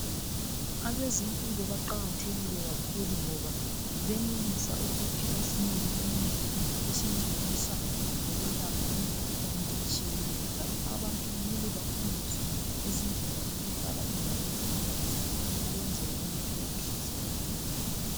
Abezimpilo baqakathekile kakhulu ngoba benelisa ukuthi basinike imithi esincedisa ngokwelapha imikhuhlane etshiyeneyo njalo abantu kumele bafundiswe ngezindlela zokuhlala endaweni ehlanzekileyo ukwenzela ukuthi bengahlaselwa yimikhuhlane.